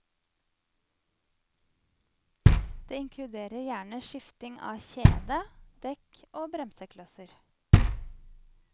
Det inkluderer gjerne skifting av kjede, dekk og bremseklosser.